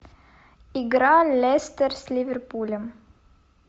игра лестер с ливерпулем